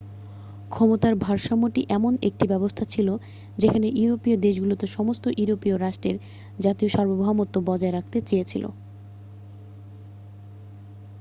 ক্ষমতার ভারসাম্যটি এমন একটি ব্যবস্থা ছিল যেখানে ইউরোপীয় দেশগুলো সমস্ত ইউরোপীয় রাষ্ট্রের জাতীয় সার্বভৌমত্ব বজায় রাখতে চেয়েছিল